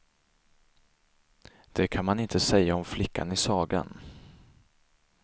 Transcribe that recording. Det kan man inte säga om flickan i sagan.